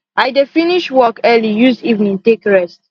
i dey finish work early use evening take rest